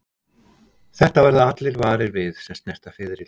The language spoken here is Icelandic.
Þetta verða allir varir við sem snerta fiðrildi.